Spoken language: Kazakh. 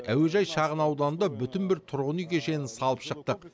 әуежай шағын ауданында бүтін бір тұрғын үй кешенін салып шықтық